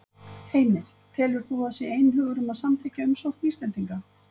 Heimir: Telur þú að það sé einhugur um að samþykkja umsókn Íslendinga?